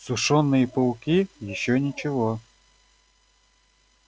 сушёные пауки ещё ничего